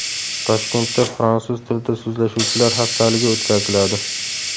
Toshkentda Fransuz tilida so‘zlashuvchilar haftaligi o‘tkaziladi.